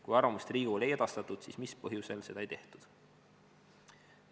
Kui arvamust Riigikogule ei edastatud, siis mis põhjusel seda ei tehtud?